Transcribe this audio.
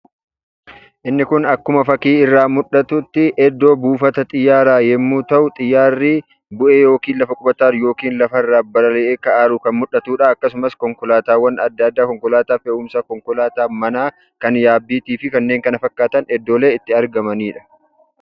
Inni kun akkuma fakkii irraa mul'atutti iddoo buufata xiyyaaraa yommuu ta'u, xiyyaarri bu'ee yookiin lafa qubata yookiin lafarraa balalii'ee ka'aa jiru kan mul'atudha. Akkasumas konkolaataawwan adda addaa konkolaataa fe'umsàa, konkolaataa manaa kan yaabbiitii fi kanneen kana fakkaatan iddoolee itti argamanidha.